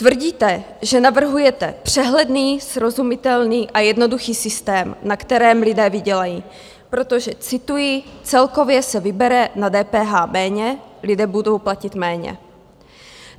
Tvrdíte, že navrhujete přehledný, srozumitelný a jednoduchý systém, na kterém lidé vydělají, protože, cituji: celkově se vybere na DPH méně, lidé budou platit méně.